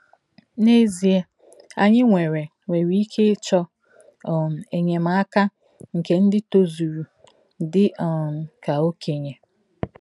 N’ezie, anyị nwere nwere ike ịchọ um enyemaka nke ndị tozuru dị um ka Okenye.